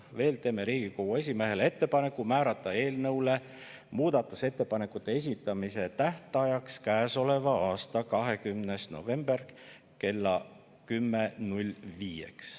Veel teeme Riigikogu esimehele ettepaneku määrata eelnõu muudatusettepanekute esitamise tähtajaks käesoleva aasta 20. november kell 10.05.